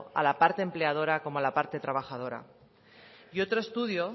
a la parte empleadora como a la parte trabajadora y otro estudio